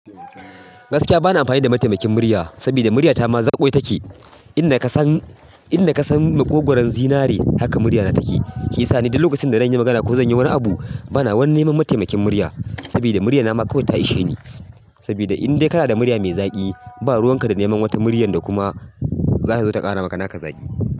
Gaskiya bana amfani da mataimakin murya, saboda murya ta ma zaƙwai take. In da ka san, in da ka san maƙogwaro zinare haka murya na take. Shi yasa ni duk lokacin da zan yi magana ko zan yi wani abu bana wanni ma mataimakin murya. Saboda murya na ma kawai ta ishe ni. Sabida in dai kana da murya mai zaƙi, ba ruwanka da neman wata muryar da kuma za su zo su ƙara maka naka zaƙi.